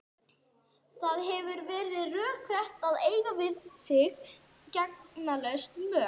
Það hefði verið rökrétt að eiga við þig gegndarlaus mök.